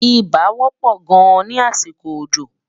ibà wò pò gáàn ní àsìkò òjò